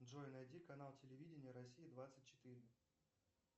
джой найди канал телевидения россия двадцать четыре